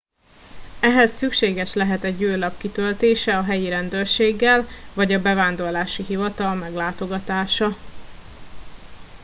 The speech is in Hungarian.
ehhez szükséges lehet egy űrlap kitöltése a helyi rendőrséggel vagy a bevándorlási hivatal meglátogatása